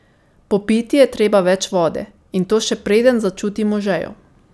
Popiti je treba več vode, in to še preden začutimo žejo.